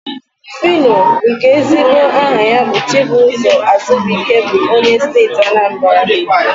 Fino, nke ezigbo aha ya bụ Chibụzọ Azubuike bụ onye Steeti Anambara.